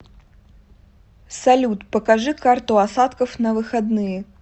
салют покажи карту осадков на выходные